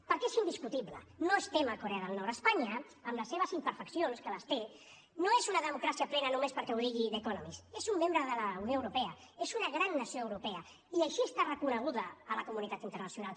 perquè és indiscutible no estem a corea del nord espanya amb les seves imperfeccions que les té no és una democràcia plena només perquè ho digui the economist és un membre de la unió europea és una gran nació europea i així està reconeguda a la comunitat internacional